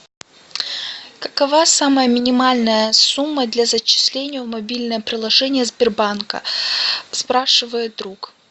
какова самая минимальная сумма для зачисления в мобильное приложение сбербанка спрашивает друг